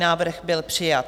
Návrh byl přijat.